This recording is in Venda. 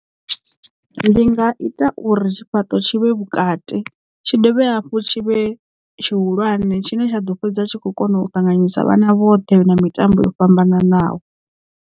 Ndi nga ita uri tshifhaṱo tshi vhe vhukati tshi dovhe hafhu tshi vhe tshihulwane tshine tsha ḓo fhedza tshi kho kona u ṱanganyisa vhana vhoṱhe na mitambo yo fhambananaho.